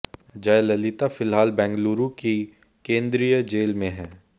जयललिता फिलहाल बेंगलुरू की केंद्रीय जेल में हैं